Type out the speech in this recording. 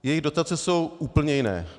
Jejich dotace jsou úplně jiné.